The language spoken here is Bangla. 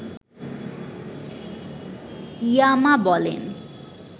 ইয়ামা বলেন